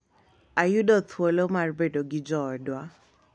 Ayudo thuolo mar bedo gi joodwa